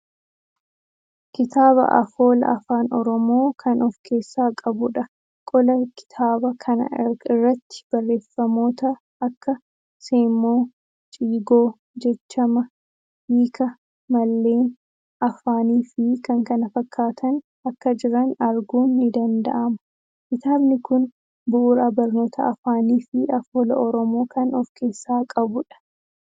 Kitaaba afoola afaan Oromoo kan of keessaa qabuudha. Qola kitaaba kana irratti barreeffamoota akka Seemmoo, Ciigoo, jechama, Hiika, malleen, Afaan fii k.k.f akka jiran arguun ni danda'ama. Kitaabni kuni bu'uura barnoota Afaanii fii Afoola Oromoo kan of keessaa qabuudha.